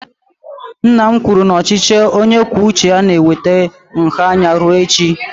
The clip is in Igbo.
Nna m kwuru na ochichi onye kwuo uche ya na-eweta nha anya rue echi.